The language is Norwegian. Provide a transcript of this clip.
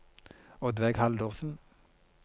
Oddveig Haldorsen